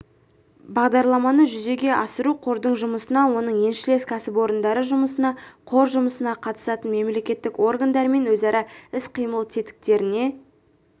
бағдарламаны жүзеге асыру қордың жұмысына оның еншілес кәсіпорындары жұмысына қор жұмысына қатысатын мемлекеттік органдармен өзара іс-қимыл тетіктеріне